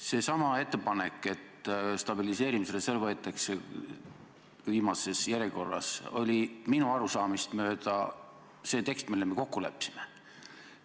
Seesama ettepanek, et stabiliseerimisreserv võetakse kasutusele viimases järjekorras, oli minu arusaamist mööda see tekst, milles me kokku leppisime.